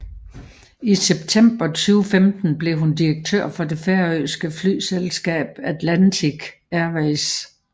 I september 2015 blev hun direktør for det færøske flyselskab Atlantic Airways